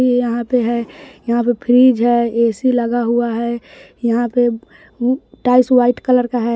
ये यहां पे है यहां पे फ्रिज ए_सी लगा हुआ है यहां पे टाइल्स व्हाइट कलर का है।